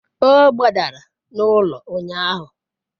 o gbadara n'ulo unyahu